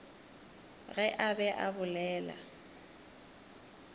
ge a be a bolela